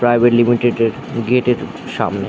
Private limited এর gate এর সামনে।